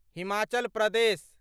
Himachal Pradesh